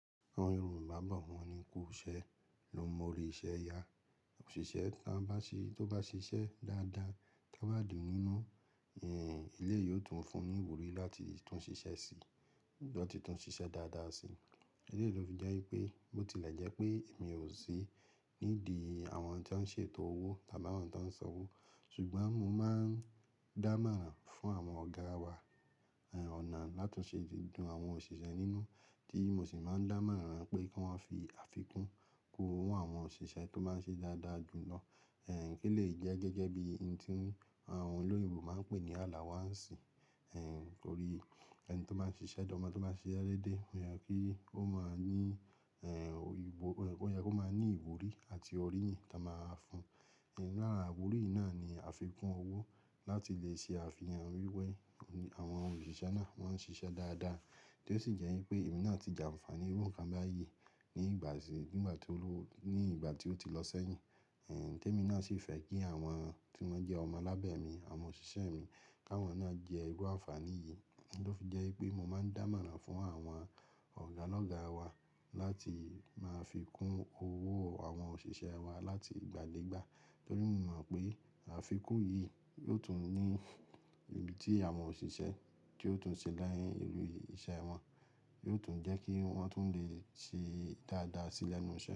Àwọn Yorùbá bọ̀ wọ́n ní kú ṣẹ́, ló mọ orí isẹ́ ya. Òṣìṣẹ́ tí ó bá ṣiṣẹ́ dáadáa, to n bá dún nínú, èlé yìí ó tún fún ní ìwúrí láti tún ṣiṣẹ́ síi lọ́ ti tún ṣiṣẹ́ dáadáa síi. Ó fi jẹ́ wípé mo ti lè jẹ́ pé èmi ò sí nídìí àwọn tí wọ́n ń ṣètò owó tàbí àwọn tí wọ́n ń san owó, ṣùgbọ́n mo máa ń dá màrán fún àwọn ọ̀gá wa ọ̀nà láti ṣe gbogbo àwọn òṣìṣẹ́ nínú, tí mo sì máa ń dá màrán pé kí wọ́n fi àfikún kó àwọn òṣìṣẹ́ tó máa ń ṣe dáadáa jù lọ. Kí lè jẹ́ gẹ́gẹ́ bí ìn tí àwọn olóyè Yorùbá máa ń pè ní àlàwọ́ ǹsì. Nítorí ẹni tó máa ń ṣiṣẹ́ dáa, ọmọ tí ó máa ń ṣi sé dédé, o yà kí ó máa ní ìwúrí àti ọ̀ríyìn tí a máa fún. Nínú ára àwúrí náà ni àfikún owó láti lè ṣe àfihàn wíwẹ́ àwọn òṣìṣẹ́ náà tó máa ń ṣiṣẹ́ dáadáa, tí ó sì jẹ́ wípé èmi náà ti jàǹfàní irú nǹkan báyìí ní ìgbà tí ó ti lọ sẹ́yìn. Tẹ́ èmi náà sì fẹ́ kí àwọn tí wọ́n jẹ́ ọmọ lábẹ̀mí, àwọn òṣìṣẹ́ mi, káwọn náà jẹ́ irú àfààní yìí. Ó fi jẹ́ wípé mo máa ń dá màrán fún àwọn ọ̀gá lọ́gá wa láti máa fi kún owó àwọn òṣìṣẹ́ wa láti ìgbà dé ìgbà. Nítorí mo mọ̀ pé àfikún yìí yóò tún ní ibi tí àwọn òṣìṣẹ́ tí ó tún ṣe láyé inú iṣẹ́ wọn, yóò tún jẹ́ kí wọ́n tún lè ṣe dáadáa sílẹ̀ nísinsìnyí.